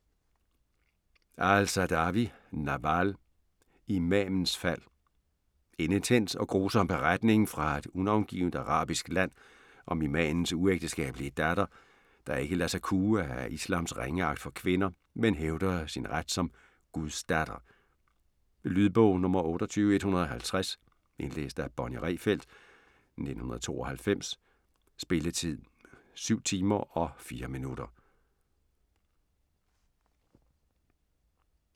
aal-Saadawi, Nawal: Imamens fald En intens og grusom beretning fra et unavngivent arabisk land om imamens uægteskabelige datter, der ikke lader sig kue af islams ringeagt for kvinder, men hævder sin ret som "guds datter". Lydbog 28150 Indlæst af Bonnie Rehfeldt, 1992. Spilletid: 7 timer, 4 minutter.